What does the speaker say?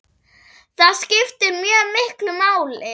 Það skiptir mjög miklu máli.